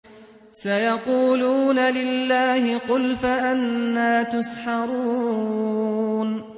سَيَقُولُونَ لِلَّهِ ۚ قُلْ فَأَنَّىٰ تُسْحَرُونَ